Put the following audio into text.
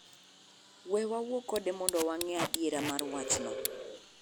We wawuo kode mondo wang'e adiera mar wachno.